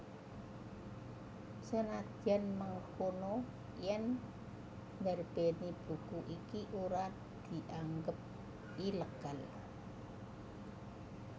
Senadyan mengkono yèn ndarbèni buku iki ora dianggep ilegal